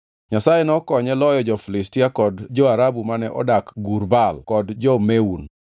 Nyasaye nokonye loyo jo-Filistia kod jo-Arabu mane odak Gur Baal kod jo-Meun.